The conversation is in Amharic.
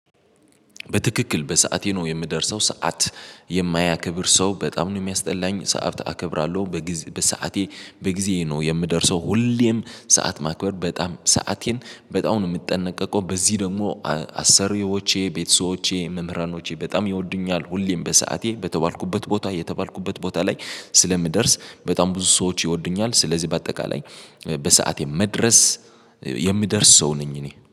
በትክክል በሰአቴ ነው የምደርሰው ሰዓት የማያከብር ሰው በጣም ነው የሚያስጠላኝ። ሰዓት አከብራለሁ በሰአቴ በጊዜ ነው የምደርሰው ሁሌም ሰዓት ማክበር በጣም ሰአቴን በጣም ነው የምጠነቀቀው። በዚህ ደግሞ አሰሪዎቼ ቤተሰቦቼ መምህራኖቼ በጣም ይወዱኛል ሁሌም በሰአቴ በተባልኩበት ቦታ የተባልኩበት ቦታ ላይ ስለምደርስ በጣም ብዙ ሰዎች ይወዱኛል። ስለዚህ በአጠቃላይ በሰአቴ መድረስ የሚደርስ ሰው ነኝ እኔ